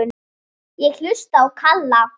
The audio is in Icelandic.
Ég hlusta á Kalla.